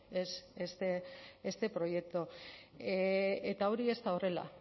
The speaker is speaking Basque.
es este proyecto eta hori ez da horrela